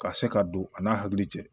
Ka se ka don a n'a hakili cɛ